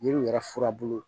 Yiriw yɛrɛ furabulu